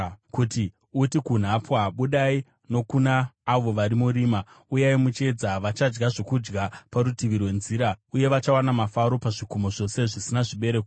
kuti uti kunhapwa, ‘Budai,’ nokuna avo vari murima, ‘Uyai muchiedza!’ “Vachadya zvokudya parutivi rwenzira, uye vachawana mafuro pazvikomo zvose zvisina zvibereko.